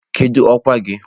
Kedu ọkwa gị?